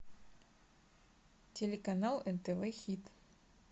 телеканал нтв хит